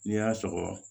N'i y'a sɔgɔ